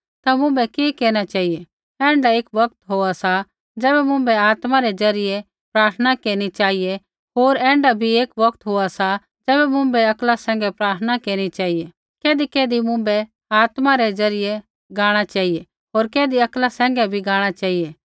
ता मुँभै कि केरना चेहिऐ ऐण्ढा एक बौगत होआ सा ज़ैबै मुँभै आत्मा रै ज़रियै प्रार्थना केरनी चेहिऐ होर ऐण्ढा भी एक बौगत होआ सा ज़ैबै मुँभै अक्ला सैंघै प्रार्थना केरनी चेहिऐ कैधीकैधी मुँभै आत्मा रै ज़रियै गाणा चेहिऐ होर कैधी अक्ला सैंघै भी गाणा चेहिऐ